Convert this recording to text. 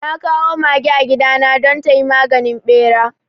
Na kawo mage a gidana don tayi maganin ɓera